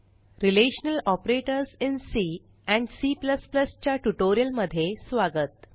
relational operators in C and C च्या ट्युटोरियमध्ये स्वागत